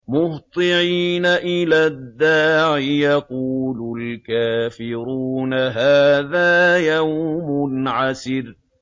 مُّهْطِعِينَ إِلَى الدَّاعِ ۖ يَقُولُ الْكَافِرُونَ هَٰذَا يَوْمٌ عَسِرٌ